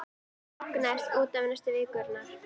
Reksturinn lognaðist út af næstu vikurnar.